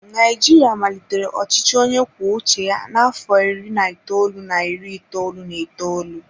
Naijiria malitere ọchịchị onye kwuo uche ya n'afọ iri na itoolu na iri itoolu na itoolu.